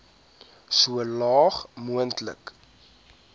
so laag moontlik